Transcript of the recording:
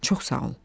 Çox sağ ol.